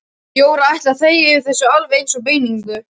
Jóra ætlaði að þegja yfir þessu alveg eins og beininu.